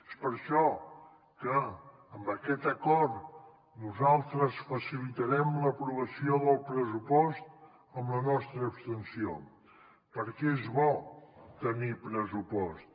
és per això que amb aquest acord nosaltres facilitarem l’aprovació del pressupost amb la nostra abstenció perquè és bo tenir pressupost